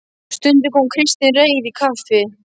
Stundum kom Kristinn Reyr í kaffi.